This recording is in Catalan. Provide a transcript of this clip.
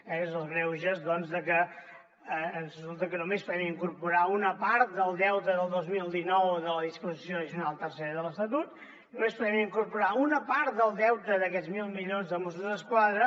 són els greuges doncs de que resulta que només poden incorporar una part del deute del dos mil dinou de la disposició addicional tercera de l’estatut només hi podem incorporar una part del deute d’aquests mil milions de mossos d’esquadra